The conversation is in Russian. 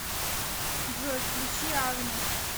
джой включи алма